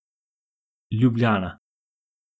Ljubljana.